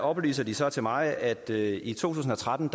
oplyser de så til mig at der i to tusind og tretten